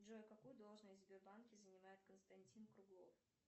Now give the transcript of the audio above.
джой какую должность в сбербанке занимает константин круглов